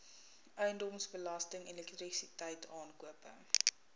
eiendomsbelasting elektrisiteit aankope